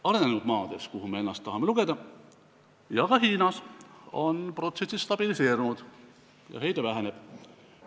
Arenenud maades, kelle hulka me ennast tahame lugeda, ja ka Hiinas, on protsessid stabiliseerunud ja heide väheneb.